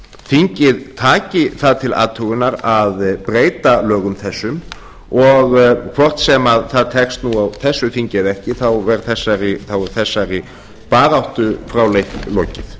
þingið taki það til athugunar að breyta lögum þessum og hvort sem það tekst nú á þessu þingi eða ekki þá er þessari baráttu fráleitt lokið